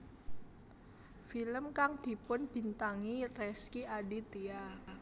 Film kang dibintangi Rezky Aditya